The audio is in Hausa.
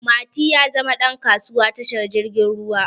Mati ya zama ɗan kasuwa tashar jirgin ruwa